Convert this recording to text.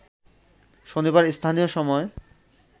শনিবার স্থানীয় সময়